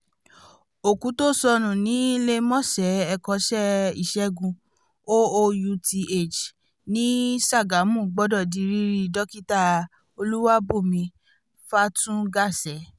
òkú tó sọnù níléemọ̀sán ẹ̀kọ́ṣẹ́ ìṣègùn oouth ní sagamu gbọ́dọ̀ di rírí dókítà olúwàbùnmí fatungase